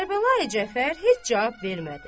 Kərbəlayı Cəfər heç cavab vermədi.